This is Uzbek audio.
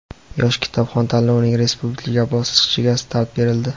"Yosh kitobxon" tanlovining respublika bosqichiga start berildi!.